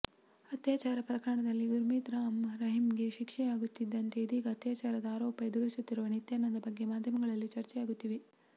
ಅತ್ಯಾಚಾರ ಪ್ರಕರಣದಲ್ಲಿ ಗುರ್ಮಿತ್ ರಾಮ್ ರಹೀಂಗೆ ಶಿಕ್ಷೆ ಯಾಗುತ್ತಿದಂತೆ ಇದೀಗ ಅತ್ಯಾಚಾರದ ಆರೋಪ ಎದುರಿಸುತ್ತಿರುವ ನಿತ್ಯಾನಂದ ಬಗ್ಗೆ ಮಾಧ್ಯಮಗಳಲ್ಲಿ ಚರ್ಚೆಯಾಗುತ್ತಿದೆ